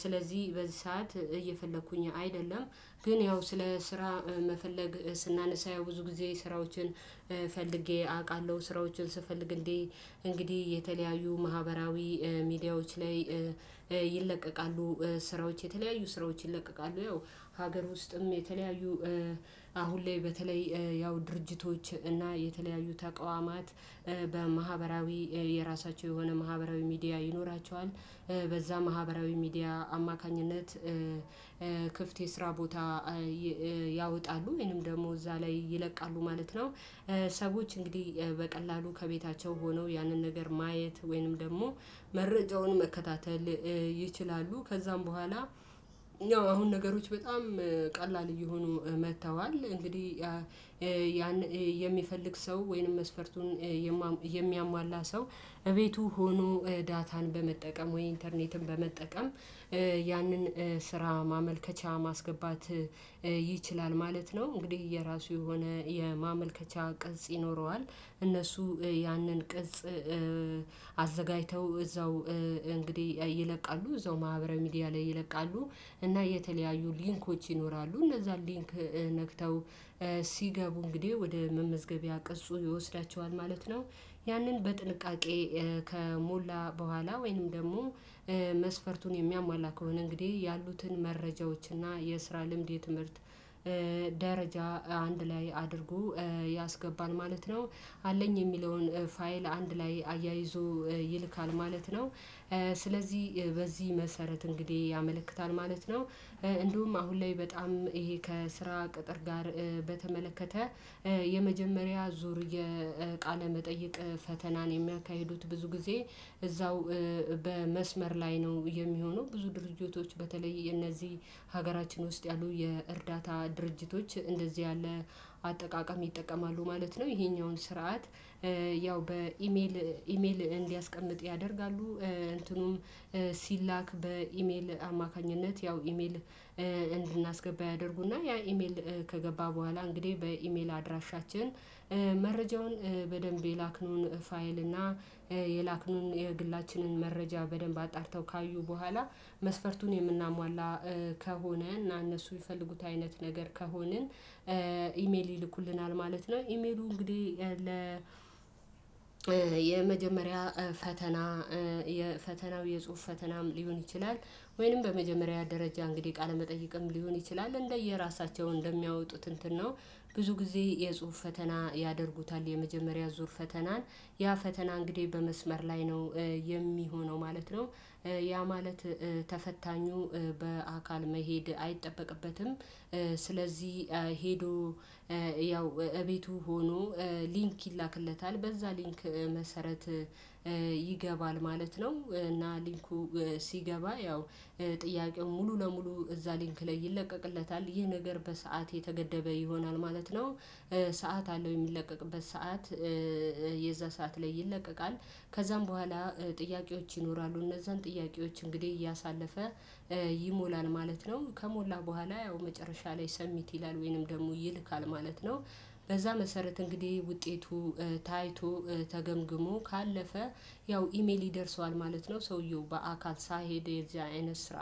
ስለዚህ በዚህ ሰዓት እየፈለኩኝ አይደለም። ግን ያው ስለ ስራ መፈለግ ስናነሳ ያው ብዙ ጊዜ ስራዎችን ፈልጌ አውቃለሁ። ስራዎችን ስፈልግ እንዴ እንግዲህ የተለያዩ ማህበራዊ ሚዲያዎች ላይ ይለቀቃሉ ስራዎች። የተለያዩ ስራዎች ይለቀቃሉ። ያው ሀገር ውስጥም የተለያዩ አሁን ላይ በተለይ ያው ድርጅቶች እና የተለያዩ ተቆዋማት የራሳቸው የሆነ ማህበራዊ ሚዲያ ይኖራቸዋል። በዛ ማህበራዊ ሚዲያ አማካኝነት ክፍት የስራ ቦታ ያወጣሉ ወይንም ደግሞ እዛ ላይ ይለቃሉ ማለት ነው። ሰዎች እንግዲህ በቀላሉ ከቤታቸው ሆነው ያንን ነገር ማየት ወይንም ደግሞ መረጃውን መከታተል ይችላሉ። ከዛም በኋላ አሁን ነገሮች በጣም ቀላል እየሆኑ መጥተዋል። እንግዲህ ያን የሚፈልግ ሰው ወይንም መስፈርቱን የሚያሟላ ሰው እቤቱ ሆኖ ዳታን በመጠቀም ወይ ኢንተርኔትን በመጠቀም ያንን ስራ ማመልከቻ ማስገባት ይችላል ማለት ነው። እንግዲህ የራሱ የሆነ የማመልከቻ ቅጽ ይኖረዋል። እነሱ ያንን ቅጽ አዘጋጅተው እዛው እንግዲህ ይለቃሉ። እዛው ማህበራዊ ሚዲያ ላይ ይለቃሉ። እና የተለያዩ ሊንኮች ይኖራሉ። እነዛን ሊንክ ነክተው ሲገቡ እንግዲህ ወደ መመዝገቢያ ቅጽሁ ይወስዳቸዋል ማለት ነው። ያንን በጥንቃቄ ከሞላ በኋላ ወይንም ደግሞ መስፈርቱን የሚያሟላ ከሆነ እንግዲህ ያሉትን መረጃዎች እና የስራ ልምድ የትምህርት ደረጃ አንድ ላይ አድርጎ ያስገባል ማለት ነው። አለኝ የሚለውን ፋይል አንድ ላይ አያይዞ ይልካል ማለት ነው። ስለዚህ በዚህ መሰረት እንግዲህ ያመለክታል ማለት ነው። እንደውም አሁን ላይ በጣም ይሄ ከስራ ቅጥር ጋር በተመለከተ የመጀመሪያ ዙር የቃለ መጠየቅ ፈተናን የሚያካሂዱት ብዙ ጊዜ እዛው በመስመር ላይ ነው የሚሆነው። ብዙ ድርጅቶች በተለይ የነዚህ ሀገራችን ውስጥ ያሉ የእርዳታ ድርጅቶች እንደዚህ ያለ አጠቃቀም ይጠቀማሉ ማለት ነው። ይሄኛውን ስርዓት ያው በኢሜል እንዲያስቀምጥ ያደርጋሉ። እንትኑም ሲላክ በኢሜል አማካኝነት ያው ኢሜል እንድናስገባ ያደርጉና ያ ኢሜል ከገባ በኋላ እንግዲህ በኢሜል አድራሻችን መረጃውን በደንብ የላክነውን ፋይል እና የላክነውን የግላችንን መረጃ በደንብ አጣርተው ካዩ በኋላ መስፈርቱን የምናሟላ ከሆነ እና እነሱ የፈለጉት አይነት ነገር ከሆነ ኢሜል ይልኩልናል ማለት ነው። ኢሜሉ እንግዲህ ለ የመጀመሪያ ፈተና የፈተናው የጽሁፍ ፈተናም ሊሆን ይችላል። ወይንም በመጀመሪያ ደረጃ እንግዲህ ቃለመጠይቀም ሊሆን ይችላል። እንደየራሳቸው እንደሚያወጡት እንትን ነው። ብዙ ጊዜ የጽሁፍ ፈተና ያደርጉታል የመጀመሪያ ዙር ፈተናን። ያ ፈተና እንግዲህ በመስመር ላይ ነው የሚሆነው ማለት ነው። ያ ማለት ተፈታኙ በአካል መሄድ አይጠበቅበትም። ስለዚህ ያው እቤቱ ሆኖ ሊንክ ይላክለታል። በዛ ሊንክ መሰረት ይገባል ማለት ነው። እና ሊንኩ ሲገባ ያው ጥያቄው ሙሉ ለሙሉ እዛ ሊንክ ላይ ይለቀቅለታል። ይህ ነገር በሰአት የተገደበ ይሆናል ማለት ነው። ሰዓት አለው የሚለቀቅበት ሰዓት። የዛ ሰዓት ላይ ይለቀቃል። ከዛም በኋላ ጥያቄዎች ይኖራሉ። እነዛን ጥያቄዎች እንግዲህ እያሳለፈ ይሞላል ማለት ነው። ከሞላ በኋላ ያው መጨረሻ ላይ ሰብሚት ይላል ወይንም ደግሞ ይልካል ማለት ነው። በዛ መሰረት እንግዲህ ውጤቱ ታይቶ ተገምግሞ ካለፈ ያው ኢሜል ይደርሰዋል ማለት ነው። ሰውየው በአካል ሳይሄድ የዚያ አይነት ስራ።